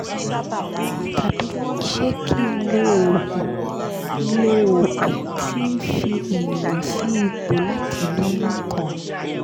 tabi se ki n lo oogun n lo oogun ti n fi eniyan si ipo lati loyun kan